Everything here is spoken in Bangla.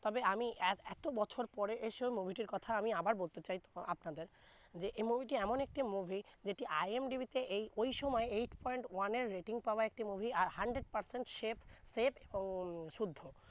তবে আমি এ~ এতো বছর পরে এসে ও movie টির কথা আবার বলতে চাই আপনাদের যে এই movie টি এমন একটি movie যেটি IMDB এই ওই সময় eight point one এর rating পাওয়া একটি movie আর hundred percent shape safe উম শুদ্ধ